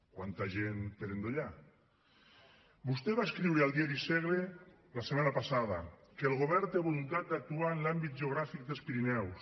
quanta gent per endollar vostè va escriure al diari segre la setmana passada que el govern té voluntat d’actuar en l’àmbit geogràfic dels pirineus